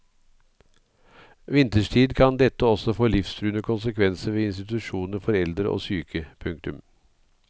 Vinterstid kan dette også få livstruende konsekvenser ved institusjoner for eldre og syke. punktum